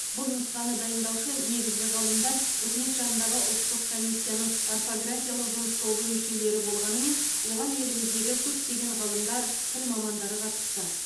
бұл нұсқаны дайындаушы негізгі ғалымдар үкімет жанындағы ұлттық комиссияның орфографиялық жұмыс тобы мүшелері болғанымен оған еліміздегі көптеген ғалымдар тіл мамандары қатысты